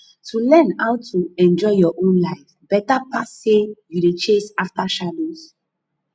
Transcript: to learn how to enjoy your own life beta pass sey you dey chase after shadows